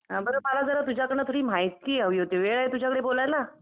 बर मला जरा तुझ्याकडून थोडी माहिती हवी होती वेळ आहे तुझ्याकडे बोलायला?